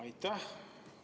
Aitäh!